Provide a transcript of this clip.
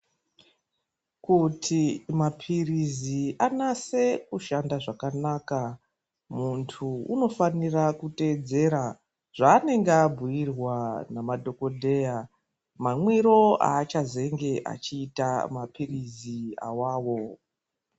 Kuti mapirizi anase kushanda zvakanaka, muntu unofanira kuteedzera zvaanenge abhuirwa namadhokodheya, mamwiro aachazenge achiita mapirizi awawo .